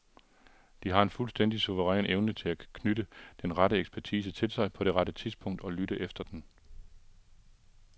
De har en fuldstændig suveræn evne til at knytte den rette ekspertise til sig på det rette tidspunkt, og lytte efter den.